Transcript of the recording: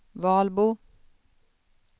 Valbo